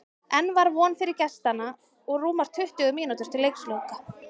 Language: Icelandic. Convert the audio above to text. Enn var von fyrir gestanna og rúmar tuttugu mínútur til leiksloka.